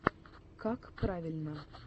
какправильно